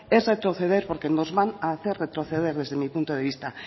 es retroceder porque nos van hacer retroceder desde mi punto de vista